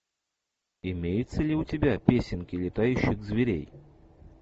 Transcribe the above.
имеется ли у тебя песенки летающих зверей